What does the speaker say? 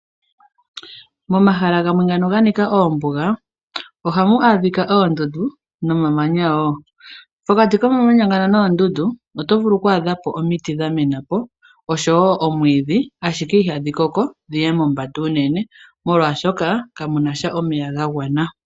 Momahala gamwe ngano ga nika oombuga ohamu adhika oondundu nomamanya wo. Pokati komamanya ngano noondundu oto vulu oku adhapo omiti dha mena po oshowo omwiidhi, ashike ihadhi koko dhiye mombanda unene, molwaashoka kamuna sha omeya ga gwana.